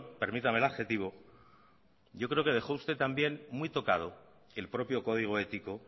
permítame el adjetivo yo creo que dejó usted también muy tocado el propio código ético